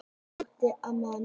Þyrla sótti hjartveikan mann